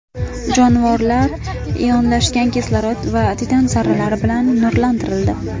Jonivorlar ionlashgan kislorod va titan zarralari bilan nurlantirildi.